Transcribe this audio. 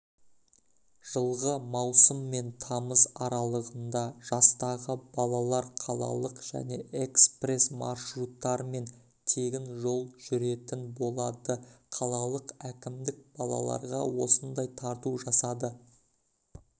жылғы маусым мен тамыз аралығында жастағы балалар қалалық және экспресс маршрутармен тегін жол жүретін болады қалалық әкімдік балаларға осындай тарту жасады